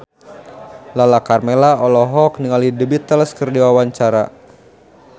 Lala Karmela olohok ningali The Beatles keur diwawancara